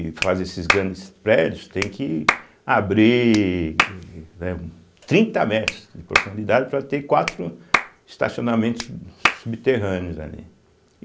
E fazer esses grandes prédios, tem que abrir, né, trinta metros de profundidade para ter quatro estacionamentos subterrâneos ali.